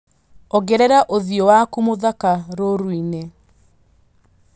ongerera ũthiũ waku mũthaka rũũrũ-inĩ